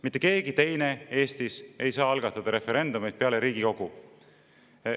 Mitte keegi teine Eestis ei saa algatada referendumeid peale Riigikogu.